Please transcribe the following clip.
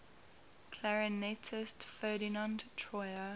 clarinetist ferdinand troyer